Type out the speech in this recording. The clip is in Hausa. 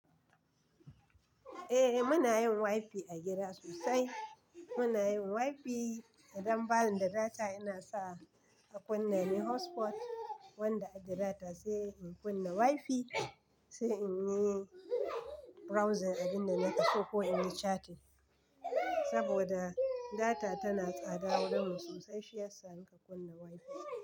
Eh, muna yin wifi a gida sosai. Muna yin wifi, idan bani da data ina sa a kunna me hotspot wanda ake data sai in kunna wifi sai in yi browsing abin da nake so ko in yi chatting. Saboda data tana tsada wurinmu sosai shiyasa nake kunna wifi.